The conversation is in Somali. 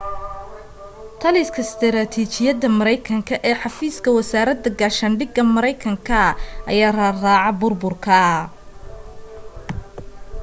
taliska istaraatiijiyadda mareykanka ee xafiiska wasaaradda gaashaandhigga mareykanka ayaa raadraaca burburka